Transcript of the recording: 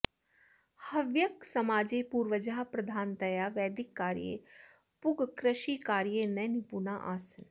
हव्यकसमाजे पूर्वजाः प्रधानतया वैदिककार्ये पूगकृषिकार्ये न निपुणा आसन्